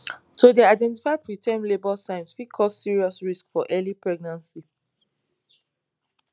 to dey identify preterm labour signs fit cause serious risks for early pregnancy